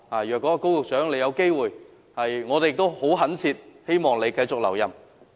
如有機會，我們懇切希望高局長能夠留任。